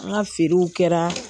An ka feerew kɛra